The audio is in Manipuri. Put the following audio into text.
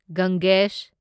ꯒꯪꯒꯦꯁ